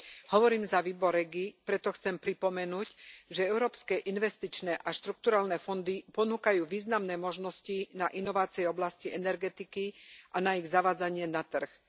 Hovorím za výbor REGI, preto chcem pripomenúť, že európske investičné a štrukturálne fondy ponúkajú významné možnosti na inovácie v oblasti energetiky a na ich zavádzanie na trh.